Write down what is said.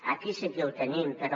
aquí sí que ho tenim però